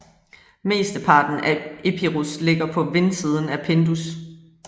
Mesteparten af Epirus ligger på vindsiden af Pindus